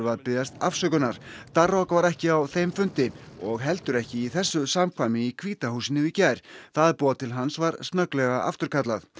að biðjast afsökunar var ekki á þeim fundi og heldur ekki í þessu samkvæmi í hvíta húsinu í gær það boð til hans var snögglega afturkallað